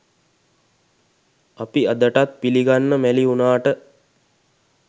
අපි අදටත් පිළිගන්න මැළි වුණාට